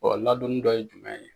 Ɔ ladonni dɔ ye jumɛn ye